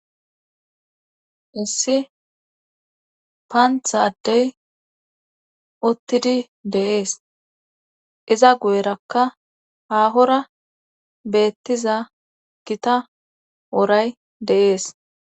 issi paantha addey uttidi de'ees iza guyerakka haahora beettiza gita woray de'ees